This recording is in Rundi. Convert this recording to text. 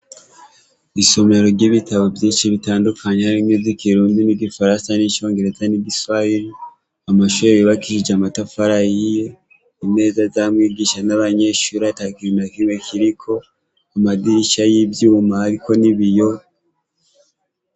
Isomero ry'ibitabo vyinshi bitandukanye harimwo z'ikirundi n'igifaransa n'icongereza n'igiswayili amashuri bibakishije amatafara yiye imeza z'a mwigisha n'abanyensh uri atakirina kimwe kiriko amadirisha y'ivyuma, ariko ni biyo.